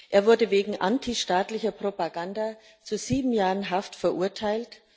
Er wurde wegen antistaatlicher Propaganda zu sieben Jahren Haft verurteilt.